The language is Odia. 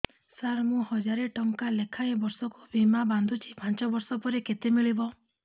ସାର ମୁଁ ହଜାରେ ଟଂକା ଲେଖାଏଁ ବର୍ଷକୁ ବୀମା ବାଂଧୁଛି ପାଞ୍ଚ ବର୍ଷ ପରେ କେତେ ମିଳିବ